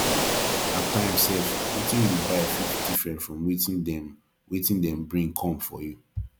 at times sef wetin yu buy fit different from wetin dem wetin dem bring kom for yu